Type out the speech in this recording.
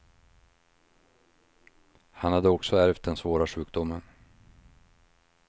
Han hade också ärvt den svåra sjukdomen.